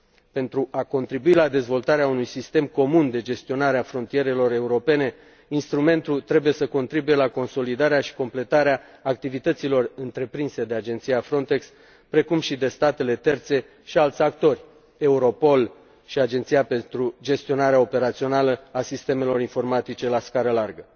Pentru a contribui la dezvoltarea unui sistem comun de gestionare a frontierelor europene, instrumentul trebuie să contribuie la consolidarea și completarea activităților întreprinse de Agenția Frontex, precum și de statele terțe și alți actori, Europol și Agenția pentru gestionarea operațională a sistemelor informatice la scară largă.